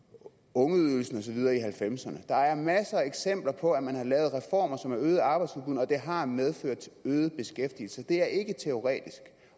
ungeydelsen og så videre i nitten halvfemserne der er masser af eksempler på at man har lavet reformer som har øget arbejdsudbuddet og det har medført øget beskæftigelse det er ikke teoretisk